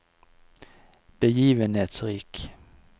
begivenhetsrik